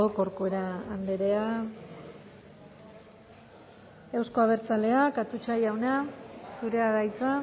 corcuera andrea euzko abertzaleak atutxa jauna zurea da hitza